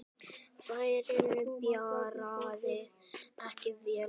Ferðin byrjaði ekki vel.